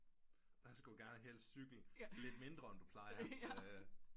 Der skulle du gerne cykle lidt mindre end du plejer